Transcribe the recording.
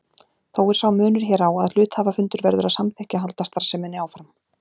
Þó er sá munur hér á að hluthafafundur verður að samþykkja að halda starfseminni áfram.